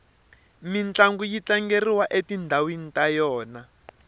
mintlangu yi tlangeriwa etindhawini ta yona